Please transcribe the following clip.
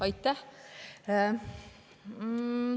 Aitäh!